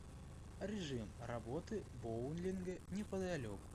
режим работы боулинга неподалеку